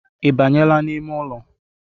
Ibanyela n’ime ụlọ?